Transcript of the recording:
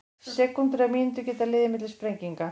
Sekúndur eða mínútur geta liðið milli sprenginga.